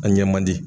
A ɲɛ man di